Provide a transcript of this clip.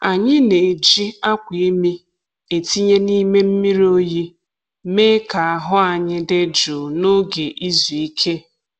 Anyị na-eji akwa imi e tinye n’ime mmiri oyi mee ka ahụ anyi dị jụụ n’oge izu ike.